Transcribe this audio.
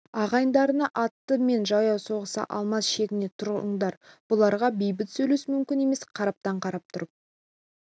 ағайындарына атты мен жаяу соғыса алмас шегіне тұрыңдар бұларға бейбіт сөйлесу мүмкін емес қараптан қарап тұрып